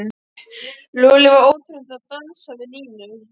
Lúlli var óþreytandi að dansa við Nínu.